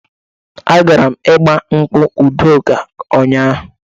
Agara m igbankwụ Udoka ụnyaahụ.